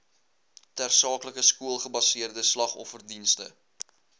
tersaaklike skoolgebaseerde slagofferdienste